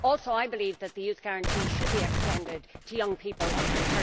I believe too that the Youth Guarantee should be extended to young people under